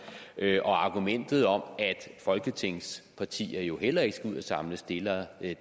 argumentet om at folketingspartier jo heller ikke skal ud at samle stillere